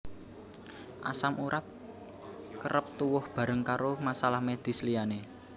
Asam urat kerep tuwuh bareng karo masalah medis liyane